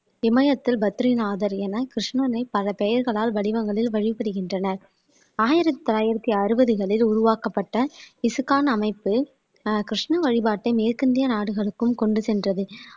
இமயத்தில் பத்ரிநாதர் என கிருஷ்ணனை பல பெயர்களால் வடிவங்களில் வழிபடுகின்றனர் ஆயிரத்தி தொள்ளாயிரத்தி அறுபதுகளில் உருவாக்கப்பட்ட இசுக்கான் அமைப்பு ஆஹ் கிருஷ்ண வழிபாட்டை மேற்கிந்திய நாடுகளுக்கும் கொண்டு சென்றது